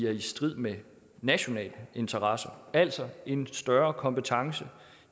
er i strid med nationale interesser altså en større kompetence